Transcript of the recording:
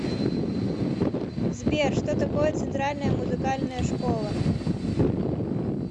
сбер что такое центральная музыкальная школа